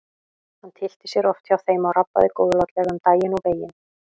Hann tyllti sér oft hjá þeim og rabbaði góðlátlega um daginn og veginn.